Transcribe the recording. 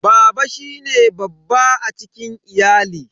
Baba shine babba a cikin ahali.